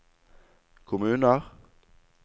kommuner